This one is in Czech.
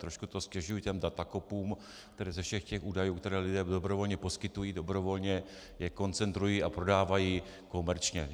Trošku to ztěžuji těm datakopům, kteří ze všech těch údajů, které lidé dobrovolně poskytují, dobrovolně je koncentrují a prodávají komerčně.